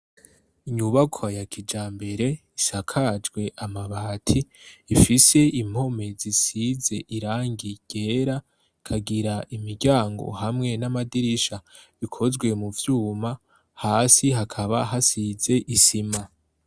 Inyubako ya kijambere isakajwe amabati ifise impome zisize irangi ryera ikagira imiryango hamwe n'amadirisha bikozwe mu vyuma hasi hakaba hasize isima.